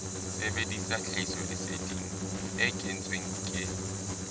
sebedisa tlhahisoleseding e kentsweng ke